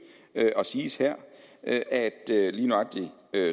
og siges her at at lige nøjagtig